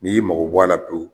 N'i y'i mago bɔ a la pewu